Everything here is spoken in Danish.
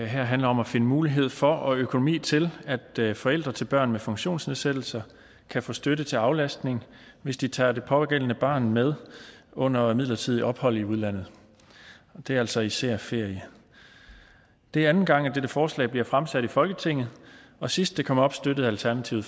handler om at finde mulighed for og økonomi til at forældre til børn med funktionsnedsættelse kan få støtte til aflastning hvis de tager det pågældende barn med under et midlertidigt ophold i udlandet og det er altså især ferie det er anden gang at dette forslag bliver fremsat i folketinget og sidst det kom op støttede alternativet